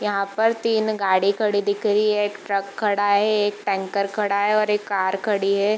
यहाँ पर तीन गाड़ी खड़ी दिख रही है एक ट्रक खड़ा है एक टैंकर खड़ा है और एक कार खड़ी है।